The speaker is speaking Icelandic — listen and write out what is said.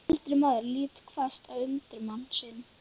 Eldri maðurinn lítur hvasst á undirmann sinn.